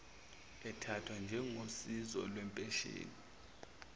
ethathwa njengosizo lwempesheni